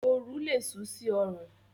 Oru lé sú sí orùn